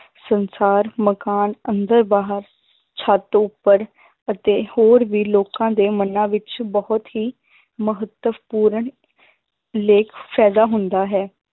ਸੰਸਾਰ ਮਕਾਨ ਅੰਦਰ ਬਾਹਰ ਛੱਤ ਉੱਪਰ ਅਤੇ ਹੋਰ ਵੀ ਲੋਕਾਂ ਦੇ ਮਨਾ ਵਿੱਚ ਬਹੁਤ ਹੀ ਮਹੱਤਵਪੂਰਨ ਫ਼ਾਇਦਾ ਹੁੰਦਾ ਹੈ